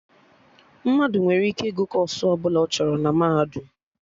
Mmadụ nwere ike ịgụ kọọsụ ọbụla ọ chọrọ na Mahadum